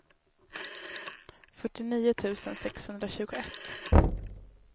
fyrtionio tusen sexhundratjugoett